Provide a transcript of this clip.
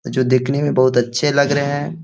जो दिखने में बहुत अच्छे लग रहे है।